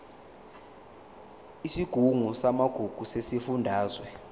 isigungu samagugu sesifundazwe